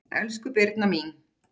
Elsku Birna mín.